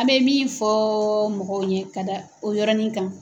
An bɛ min fɔ mɔgɔw ɲɛ ka da o yɔrɔnin kan